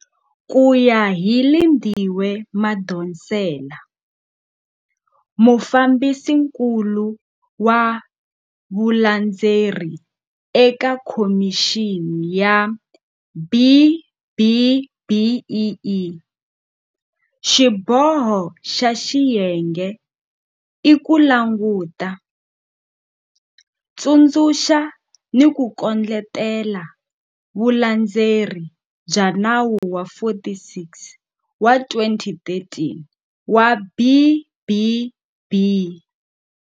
Ku ya hi Lindiwe Madonsela, Mufambisinkulu wa Vu landzeleri eka Khomixini ya B-BBEE, xiboho xa xiyenge i ku languta, tsundzuxa ni ku kondletela vulandzeleri bya Nawu wa 46 wa 2013 wa B-BB.